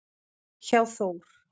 hjá Þór.